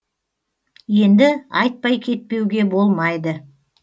енді айтпай кетпеуге болмайды